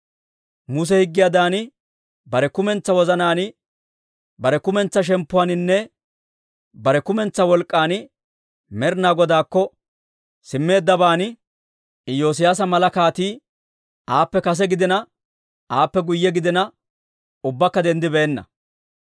Muse higgiyaadan bare kumentsaa wozanaan, bare kumentsaa shemppuwaaninne, bare kumentsaa wolk'k'an Med'ina Godaakko simmeeddaban Iyoosiyaasa mala kaatii, aappe kase gidiina, aappe guyye gidina, ubbakka denddibeenna.